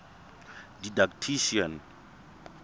didactician